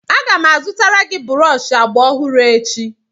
Aga m azụtara gị brọọshị agba ọhụrụ echi